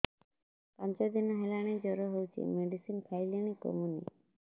ପାଞ୍ଚ ଦିନ ହେଲାଣି ଜର ହଉଚି ମେଡିସିନ ଖାଇଲିଣି କମୁନି